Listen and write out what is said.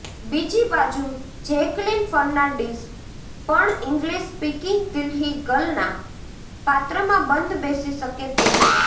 બીજી બાજુ Jacqueline Fernandez પણ ઇંગ્લિશ સ્પીકિંગ દિલ્હી ગર્લના પાત્રમાં બંધ બેસી શકે તેમ છે